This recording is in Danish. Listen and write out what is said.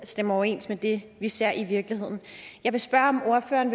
stemmer overens med det vi ser i virkeligheden jeg vil spørge om ordføreren